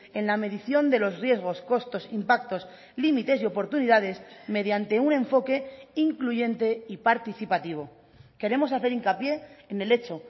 en la medición de los riesgos costos impactos límites y oportunidades mediante un enfoque incluyente y participativo queremos hacer hincapié en el hecho